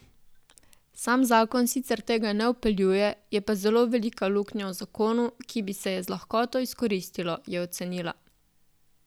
Sam zakon sicer tega ne vpeljuje, je pa zelo velika luknja v zakonu, ki bi se je z lahkoto izkoristilo, je ocenila.